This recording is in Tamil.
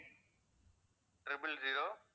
triple zero